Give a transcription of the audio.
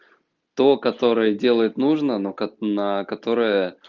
то которое делает нужно но ка на которое